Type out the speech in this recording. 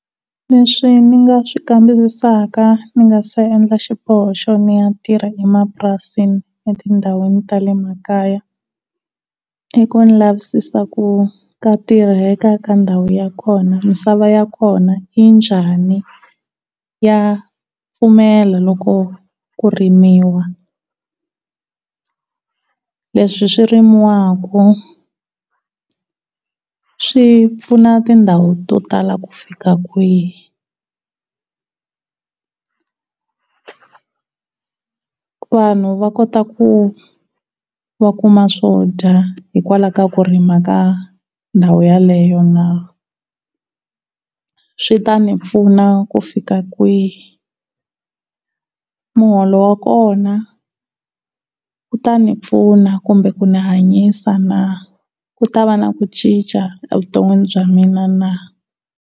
Leswi ndzi nga swi kamberisaka ndzi nga si endla xiboho xo ya tirha emapurasini etindhawini ta le makaya i ku lavisisa ku ka tirheka ka ndhawu ya kona misava ya kona yi njhani ya pfumela loko ku rimiwa. Leswi swi rimiwaka swi pfuna tindhawu to tala ku fika kwihi? Vanhu va kota ku va kuma swo dya hikwalaho ka ku rima ka ndhawu yaleyo na? Swi ta ni pfuna ku fila kwihi? Muholo wa kona wu ta ni pfuna kumbe ku ni hanyisa na? Ku ta va na ku cinca evuton'wini bya mina na?